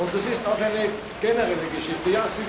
Das ist auch eine generelle Geschichte.